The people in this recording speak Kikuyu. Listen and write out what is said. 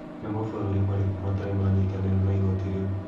Nĩ mabũrũri marĩkũ matarĩ manyitanĩra na igoti rĩu?